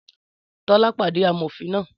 Tọ́lá pàdé amòfin náà